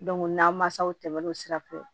n na mansaw tɛmɛ o sira fɛ